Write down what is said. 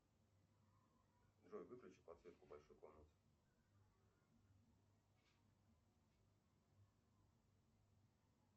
джой выключи подсветку в большой комнате